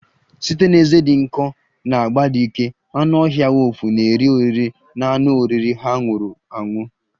Site na ezé dị nkọ na agba dị ike, anụ ọhịa wulfu na-eri oriri na anụ oriri ha nwụrụ anwụ